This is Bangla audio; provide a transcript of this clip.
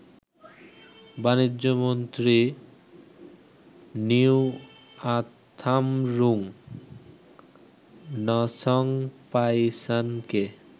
বাণিজ্য মন্ত্রী নিওয়াথামরুং নসংপাইসানকে